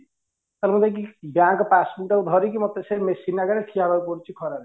ତା ହେଲେ ମୁଁ ନାଇକି bank passbook ଟାକୁ ଧରିକି ମତେ ସେ machine ଆଗରେ ଠିଆ ହବାକୁ ପଡୁଚି ଖରା ରେ